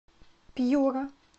пьюра